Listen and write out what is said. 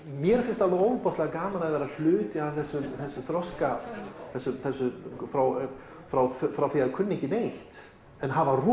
mér finnst alveg ofboðslega gaman að vera hluti af þessum þroska frá frá frá því að kunna ekki neitt en hafa